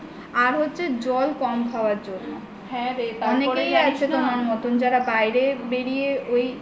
আর হচ্ছে জল কম খাওয়ার জন্য অনেকেই আছে তোমার মতো যারা বাইরে বেরিয়ে ওই